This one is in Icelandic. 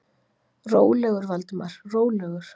Rólegur, Valdimar, rólegur.